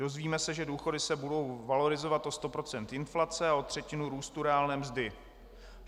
Dozvíme se, že důchody se budou valorizovat o 100 % inflace a o třetinu růstu reálné mzdy.